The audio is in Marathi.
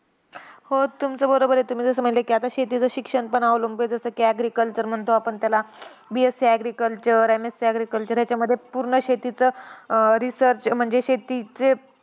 हो तुमचं बरोबर आहे. तुम्ही जसं म्हणले की आता शेतीचं शिक्षणपण अवलंबून आहे. जसं की agriculture म्हणतो आपण त्याला. BSC agriculture MSC agriculture याच्यामध्ये पूर्ण शेतीचा अं research म्हणजे शेतीचे